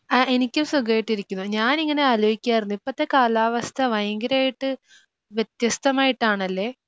ആ എനിക്കും സുഖമായിട്ടിരിക്കുന്നു. ഞാൻ ഇങ്ങനെ ആലോചിക്കുവായിരുന്നു ഇപ്പോഴത്തെ കാലാവസ്ഥാ ഭയങ്കരമായിട്ട് വ്യത്യസ്തമായിട്ടാണല്ലേ?